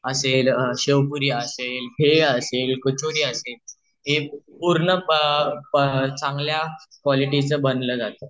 असेल शेवपुरी असेल भेळ असेल कचोरी असेल हे पूर्ण चांगल्या क्वालिटीचं बनलं जात